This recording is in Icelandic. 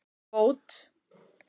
Bót